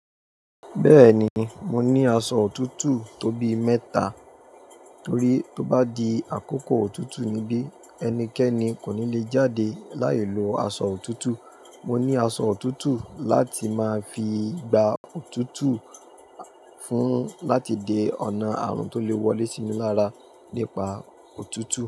Bẹ́ẹ̀ni mo ní aṣọ òtútù tó bí mẹ́ta, torí tó bá di àkókò òtútù níbí ẹnikẹ́ni kò ní lè jáde láì lo aṣọ òtútù. Mo ní aṣọ òtútù láti máa fi gba òtútù fún láti de ọ̀nà àrùn tó lè wọlé síni lára nípa òtútù.